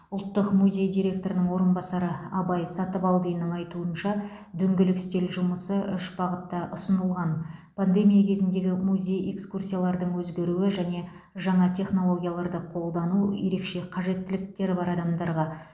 ұлттық музей директорының орынбасары абай сатыбалдиннің айтуынша дөңгелек үстел жұмысы үш бағытта ұсынылған пандемия кезіндегі музей экскурсиялардың өзгеруі және жаңа технологияларды қолдану ерекше қажеттіліктері бар адамдарға